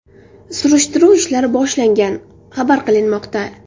Surishtiruv ishlari boshlangan xabar qilinmoqda.